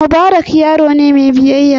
Mubarak yaro ne mai biyayya sosai.